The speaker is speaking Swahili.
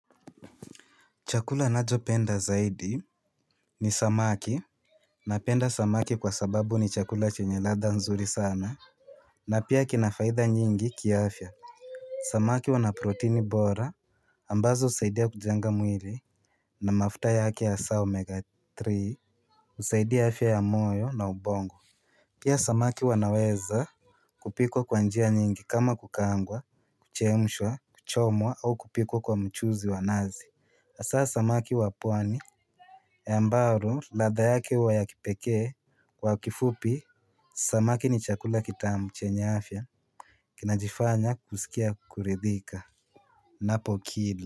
Chakula nacho penda zaidi ni samaki. Napenda samaki kwa sababu ni chakula chenye ladha nzuri sana. Na pia kinafaida nyingi kiaafya. Samaki wanaproteini bora ambazo husaidia kujenga mwili. Na mafuta yake ya saa omega three husaidia afya ya moyo na ubongo. Pia samaki wanaweza kupikwa kwa njia nyingi kama kukaangwa kuchemshwa kuchomwa au kupikwa kwa mchuzi wa nazi hasaa samaki wa pwani ambao latha yake huwa ya kipekee kwa kifupi. Samaki ni chakula kitamu chenya afya. Kinajifanya kusikia kuridhika. Napo kila.